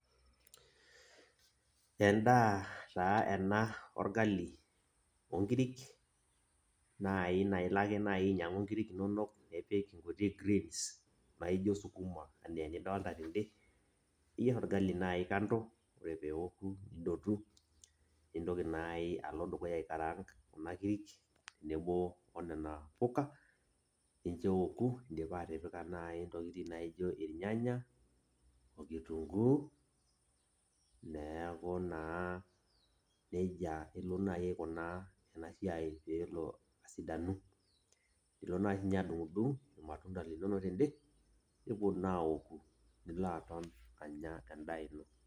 En'daa taa eena orgali, onkirik, naai naa ilo ake naai ainyiang'u inkirik inonok, nipik inkuti[cs[greens naijo sukuma enaa enidolta teen'de, niyier orgali naaji kando, oore pee eoku nidotu. Nintoki aalo dukuya aikaarank inaduo puuka nincho eoku, in'dipa atipika naai intokitin naijo irnyanya, oo kitunguu, niaku naa nejia iilo naaji aikunaa eea siai peyie eelo asidanu. Iilo naaji sininche naaji adung'udung irmatunda linono ten'de nepuo naa aoku nilo aton aanya en'daa iino.